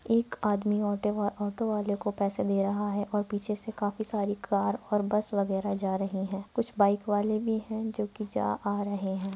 एक आदमी ऑटो वाले को पैसे दे रहा है और पीछे से काफी सारी कार और बस वगैरह जा रहीं हैं। कुछ बाइक वाले भी हैं। जो की जा - आ रहें हैं।